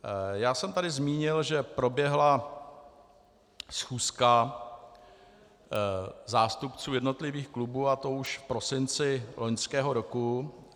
Já jsem tady zmínil, že proběhla schůzka zástupců jednotlivých klubů, a to už v prosinci loňského roku.